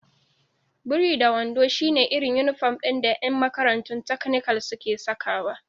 Biri-da-wando shi ne irin inifom ɗin da ƴan makarantun takanikal suke sakawa